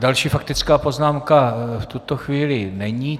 Další faktická poznámka v tuto chvíli není.